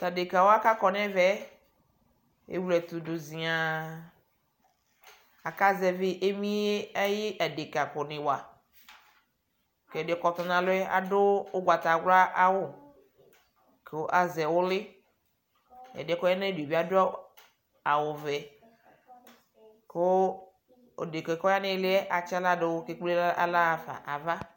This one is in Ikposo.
Tʊ dekawa kʊ akɔ nʊ ɛmɛ ewle ɛtʊdʊ ziaă, aka zɛvi emie ayʊ adeka kʊ nɩ wa, kʊ ɛdɩ yɛ kʊ ɔtɔ nʊ alɔ yɛ adʊ awu ugbatawla, kʊ ama aɣla nʊ inǝgǝ, ɛdi yɛ kʊ ɔya nʊ ayidu bɩ adʊ awu vɛ, kʊ odeka yɛ kʊ nʊ ɩɩlɩ yɛ atsi aɣladʊ kʊ emu nʊ aɣla nava